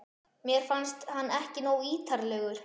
Mér fannst hann ekki nógu ítarlegur.